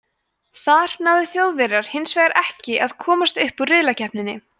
þar náðu þjóðverjar hins vegar ekki að komast upp úr riðlakeppninni